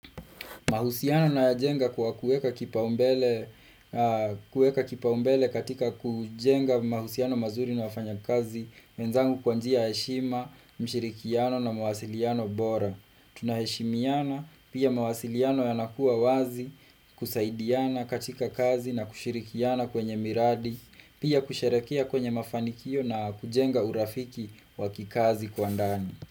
Mahusiano na jenga kwa kueka kipa umbele katika kujenga mahusiano mazuri na wafanya kazi, wenzangu kwanji ya heshima, mshirikiano na mawasiliano bora. Tunaheshimiana, pia mawasiliano yanakuwa wazi, kusaidiana katika kazi na kushirikiana kwenye miradi, pia kusherekia kwenye mafanikio na kujenga urafiki wakikazi kwa ndani.